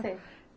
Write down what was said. Conhecer.